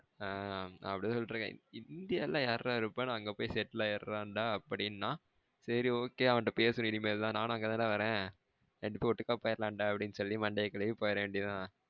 ஆ அப்டிதா சொல்ட்டு இருக்கேன் இந்தியால யாருடா இருப்பா நா அங்க போய் செட்டில் ஆகிடுறேன்டா அப்டினா சேரி okay அவன்டா பேசுறேன் இனிமேல்தான் நானும் அங்கதான்டா வறேன். ரெண்டு பெரும் ஓட்டுக்கா போய்டலாம் அப்டின்னு சொல்லிட்டு அப்டியே மண்டையா கழுவி போய்ற வேண்டியதுதான்.